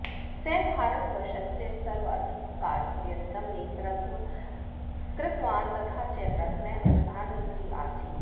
सः भारतवर्षस्य सर्वाधिककालपर्यन्तं नेतृत्वं कृतवान् तथा च प्रथमः प्रधानमन्त्री आसीत्